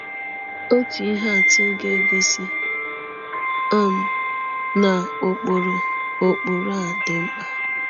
Otu ihe atụ ga-egosi um na ụkpụrụ ụkpụrụ a dị mkpa.